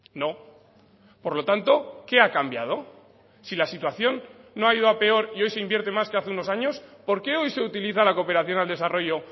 no por lo tanto qué ha cambiado si la situación no ha ido a peor y hoy se invierte más que hace unos años por qué hoy se utiliza la cooperación al desarrollo